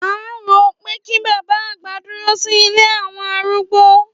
À ń wo pé kí bàbá àgbà dúró sí ilé àwọn arúgbó.